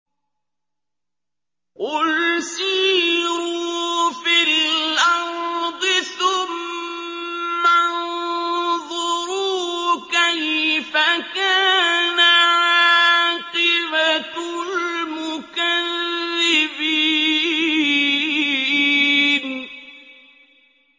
قُلْ سِيرُوا فِي الْأَرْضِ ثُمَّ انظُرُوا كَيْفَ كَانَ عَاقِبَةُ الْمُكَذِّبِينَ